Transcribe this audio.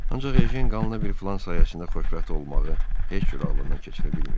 Ancaq Ejen qanla bir filan sayəsində xoşbəxt olmağı heç cür ağlından keçirə bilmirdi.